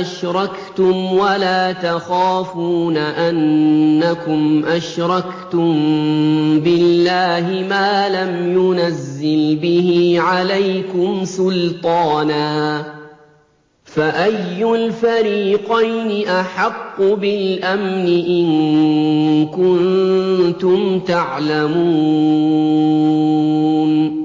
أَشْرَكْتُمْ وَلَا تَخَافُونَ أَنَّكُمْ أَشْرَكْتُم بِاللَّهِ مَا لَمْ يُنَزِّلْ بِهِ عَلَيْكُمْ سُلْطَانًا ۚ فَأَيُّ الْفَرِيقَيْنِ أَحَقُّ بِالْأَمْنِ ۖ إِن كُنتُمْ تَعْلَمُونَ